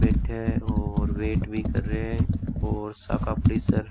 बैठे है और वेट भी कर रहे है और --